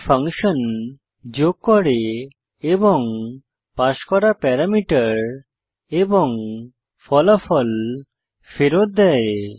এই ফাংশন যোগ করে এবং পাস করা প্যারামিটার এবং ফলাফল ফেরত দেয়